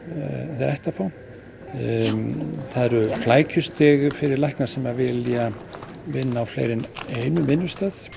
þeir ættu að fá það eru flækjustig fyrir lækni sem vilja vinna á fleiri en einum vinnustað